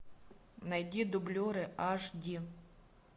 найди дублеры аш ди